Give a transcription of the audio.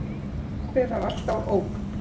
Pabbi var alltaf ógn.